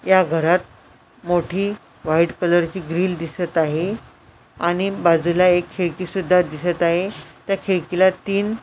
या घरात मोठी व्हाईट कलर ची ग्रिल दिसत आहे आणि बाजूला एक खिडकी सुद्धा दिसत आहे त्या खिडकीला तीन --